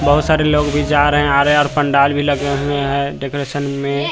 बहुत सारे लोग भी जा रहे हैं आ रहे है और पंडाल भी लगे हुए हैं डेकोरेशन में--